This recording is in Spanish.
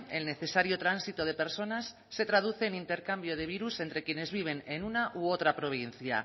el necesario tránsito de personas se traduce en intercambio de virus entre quienes viven en una u otra provincia